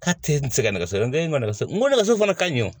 K'a tɛ n sɛgɛn nɛgɛso n ko ne man nɛgɛso n ko nɛgɛso fana ka ɲi o